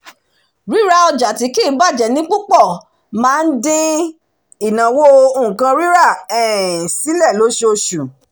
ríra ọjà tí kì í bàjẹ́ ní púpọ̀ máa ń dín ìnáwó nǹkan rírà um sílé lóṣooṣù